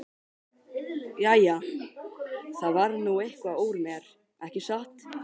Jæja, það varð nú eitthvað úr mér, ekki satt?